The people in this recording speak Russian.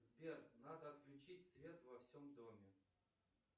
сбер надо отключить свет во всем доме